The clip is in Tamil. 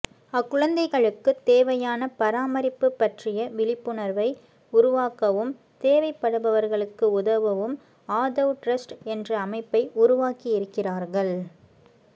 அக்குழந்தைகளுக்குத் தேவையான பராமரிப்பு பற்றிய விழிப்புணர்வை உருவாக்கவும் தேவைப்படுபவர்களுக்கு உதவவும் ஆதவ் டிரஸ்ட் என்ற அமைப்பை உருவாக்கியிருக்கிறார்கள்